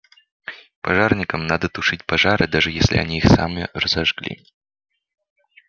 пожарникам надо тушить пожары даже если они сами их разожгли